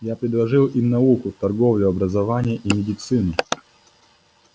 я предложил им науку торговлю образование и медицину